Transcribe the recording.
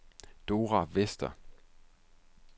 Dora Vester